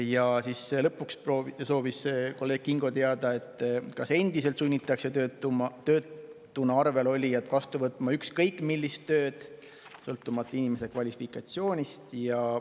Ja lõpuks soovis kolleeg Kingo teada, kas endiselt sunnitakse töötuna arvel olijat vastu võtma ükskõik millist tööd, sõltumata inimese kvalifikatsioonist.